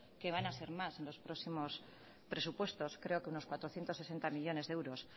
que van a ser más en los próximos presupuestos creo que unos cuatrocientos sesenta millónes de euros